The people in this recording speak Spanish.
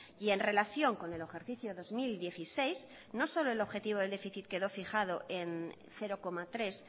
y en relación con el ejercicio dos mil dieciséis no solo el objetivo de déficit quedó fijado en cero coma tres